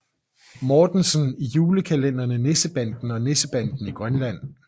Mortensen i julekalenderne Nissebanden og Nissebanden i Grønland